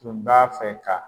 Tun b'a fɛ ka.